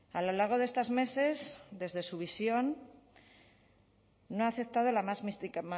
a lo largo de estos meses desde su visión no ha aceptado la más